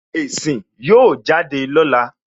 Èsì ó jáde lọ́la